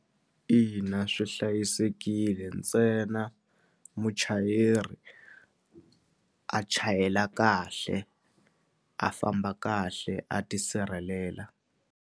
Ina, swi hlayisekile ntsena muchayeri a chayela kahle a famba kahle a tisirhelela.